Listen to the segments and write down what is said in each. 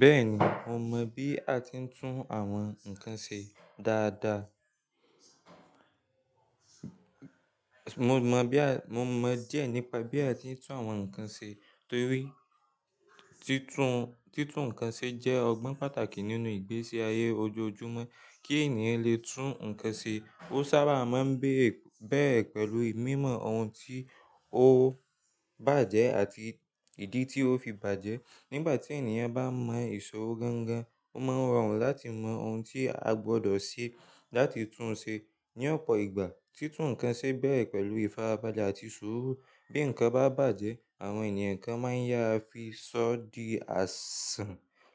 Bẹ́ẹ̀ni, mo mọ̀ bí a ti ń tún àwọn nǹkan ṣe dáadáa. Mo mọ̀ díẹ̀ nípa bí a ti ń tún àwọn nǹkan ṣe torí, títún nǹkan ṣe jẹ́ ọgbọ́n pàtàkì nínú ìgbésí ayé ojoojúmọ́. Kí ènìyàn lè tún nǹkan ṣe, ó sábà máa ń bérè pẹ̀lú ìmọ̀ ohun tí ó bàjẹ́ àti ìdí tí ó fi bàjẹ́. Nígbà tí ènìyàn bá mọ ìṣòro gángan, ó máa n rọrùn láti mọ ohun tí a gbọdọ̀ ṣe láti tún un ṣe. Ni ọ̀pọ̀ ìgbà, títún nǹkan ṣe bèrè pẹ̀lú ìfarabalẹ̀ àti suuru. Bí nǹkan bá bàjẹ́, àwọn ènìyàn kan máa ń yá a fi sọ di àsàn.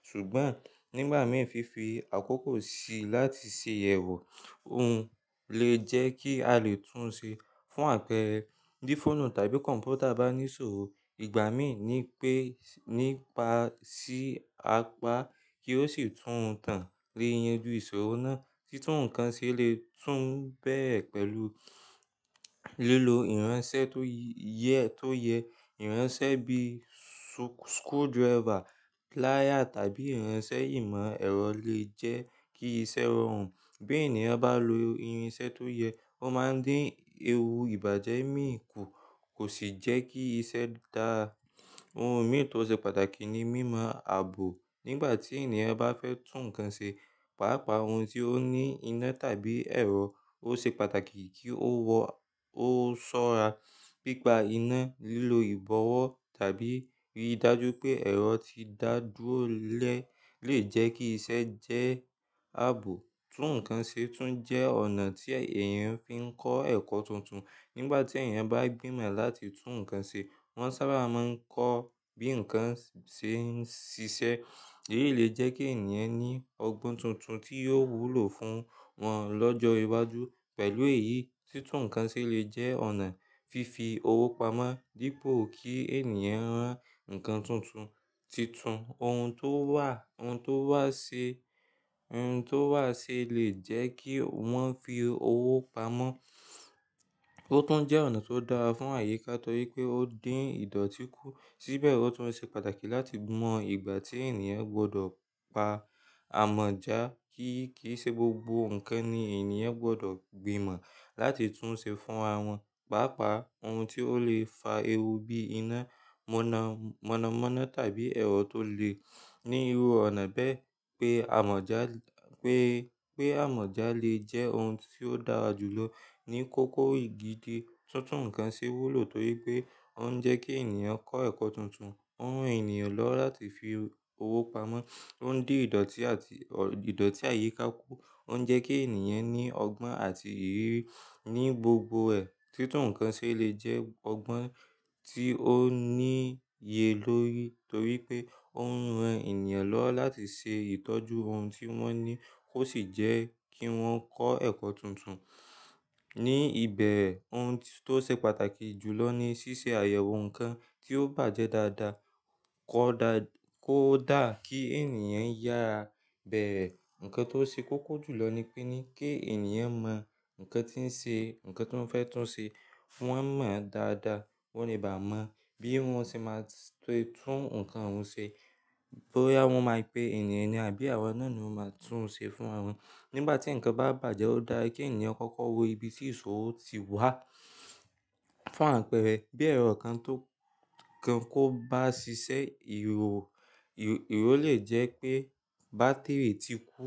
Ṣùgbọ́n nígbà mìi fífi àkókò síi láti ṣe ìyẹ̀wò òhun lè jẹ́ kí a lè tún un ṣe. Fún àpẹẹrẹ, bí fóònù tàbí kọ̀ǹpútà bá ní ìṣòro, ìgbà mìíràn ni pé nípa sí apá kí ó sì tún tàn le yanjú ìṣòro náà. Títún nǹkan ṣe lè tún bérè pẹ̀lú lílo ìránṣẹ́ tó yẹ. Ìránṣẹ́ bíi screwdriver, plier tàbí ìránṣẹ́ imọ-ẹrọ lè jẹ́ kí iṣẹ́ rọrùn. Bí ènìyàn bá lo irinṣẹ́ tó yẹ, ó máa ń dín ewu ìbàjẹ́ mìíràn kù, kò sì jẹ́ kí iṣẹ́ dáa. Ohun mìíràn tó ṣe pàtàkì ni mímọ ààbò. Nígbà tí ènìyàn bá fẹ́ tún nǹkan ṣe, pàápàá ohun tí ó ní iná tàbí ẹ̀rọ, ó ṣe pàtàkì kí ó ṣọ́ra. Pípa iná, lílo ìbọ̀wọ́ tàbí rí i dájú pé ẹ̀rọ ti dá dúró lẹ́ẹ̀ lè jẹ́ kí iṣẹ́ jẹ́ ààbò. Títún nǹkan ṣe tún jẹ́ ọ̀nà tí èèyàn fi ń kọ́ ẹ̀kọ́ tuntun. Nígbà tí èèyàn bá gbìmọ̀ láti tún nǹkan ṣe, wọ́n sábà máa ń kọ́ bí nǹkan ṣe ń ṣiṣẹ́. Èyí lè jẹ́ kí ènìyàn ní ọgbọ́n tuntun tí yóò wúlò fún wọn lọ́jọ́ iwájú. Pẹ̀lú èyí, títún nǹkan ṣe lè jẹ́ ọ̀nà fífi owó pamọ́. Dípò kí ènìyàn rán nǹkan tuntun, títún ohun tó wà sí lè jẹ́ kí wọ́n fi owó pamọ́. Ó tún jẹ́ ọ̀nà tó dára fún àyíká torí pé ó ń dín ìdọ̀tí kù. Síbẹ̀ ó tún ṣe pàtàkì láti mọ ìgbà tí ènìyàn gbọdọ̀ pa àmọ̀já, kí kì í ṣe gbogbo nǹkan ni ènìyàn gbọdọ̀ gbìmọ̀ láti tún ṣe fún ara wọn. Pàápàá ohun tí ó lè fa ewu bíi iná mọ̀nàmọ́ná tàbí ẹ̀rọ tó le ní iru ọ̀nà bẹ́ẹ̀ pé àmọ̀já lè jẹ́ ohun tí ó dára jù lọ. Ni kókó igi diẹ, títún nǹkan ṣe wúlò torí pé ó ń jẹ́ kí ènìyàn kọ́ ẹ̀kọ́ tuntun, ó ń ran ènìyàn lọ́wọ́ láti fi owó pamọ́, ó ń dín ìdọ̀tí àti ìdọ̀tí àyíká kù, ó ń jẹ́ kí ènìyàn ní ọgbọ́n àti ìrírí ní gbogbo ẹ̀. Títún nǹkan ṣe lè jẹ́ ọgbọ́n tí ó níye lórí torí pé ó ń ran ènìyàn lọ́wọ́ láti ṣe ìtọ́jú ohun tí wọ́n ní kó sì jẹ́ kí wọ́n kọ́ ẹ̀kọ́ tuntun. Ni ibẹ̀re ohun tó ṣe pàtàkì jùlọ ni ṣíṣe àyẹ̀wò nǹkan tí ó bàjẹ́ dáadáa kó dà kí ènìyàn yára a. Bẹ́re. Nǹkan tó ṣe kókó jùlọ nípe ni kí ènìyàn mọ̀ nǹkan tí ó fẹ́ tún ṣe fún wọ́n mọ̀ dáadáa. Ki wọn ò le bá mọ bí wọ́n ṣe máa ṣe tún nǹkan ohun ṣe bóyá wọn máa pe ènìyàn ni àbí àwọn náà ni ó máa tún un ṣe fún ara wọn. Nígbà tí nǹkan bá bàjẹ́, ó dára kí ènìyàn kọ́kọ́ wo ibi tí ìṣòro ti wá fún àpẹẹrẹ bí ẹ̀rọ kan kò bá ṣiṣẹ́, ìró lè jẹ́ pé bátírì ti kú,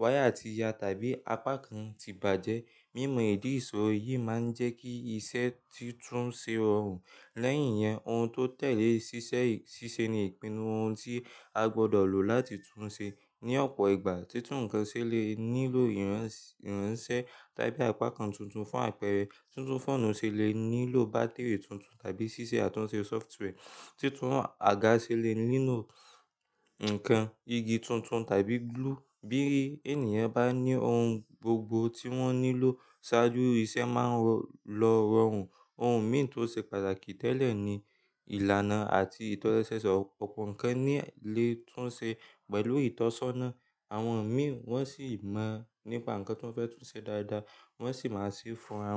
wáyà ti ya tàbí apá kan ti bàjẹ́. Mímọ ìdí ìṣòro yìí máa ń jẹ́ kí iṣẹ́ títún ṣe rọrùn. Lẹ́yìn yẹn, ohun tó tẹ̀lé ṣíṣe ni ìpinnu ohun tí a gbọdọ̀ lò láti tún ṣe. Ni ọ̀pọ̀ ìgbà, títún nǹkan ṣe lè nílò ìránṣẹ́ tàbí apá kan tuntun. Fún àpẹẹrẹ, títún fóònù ṣe lè nílò bátírì tuntun tàbí ṣíṣe àtúnṣe sófitwea. Títún àga ṣe lè nílò nǹkan igi tuntun tàbí gúlú. Bí ènìyàn bá ní ohun gbogbo tí wọ́n nílò ṣáájú, iṣẹ́ máa lọ rọrùn. Ohun mìíràn tó ṣe pàtàkì tẹ́lẹ̀ ni ìlànà àti ìtọ̀sọ́nà. Ọ̀pọ̀ nǹkan ni lè tún ṣe pẹ̀lú ìtọ̀sọ́nà. Àwọn mìíràn wọn sì mọ̀ nípa nǹkan tí wọ́n fẹ́ tún ṣe dáadáa wọ́n sì máa ṣe fún ara wọn.